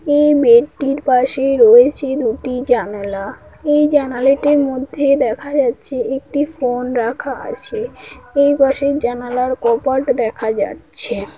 এই বেডটির পাশে রয়েছে দুটি জানালা এই জানালাটির মধ্যে দেখা যাচ্ছে একটি ফোন রাখা আছে এই পাশের জানালার কপাট দেখা যাচ্ছে ।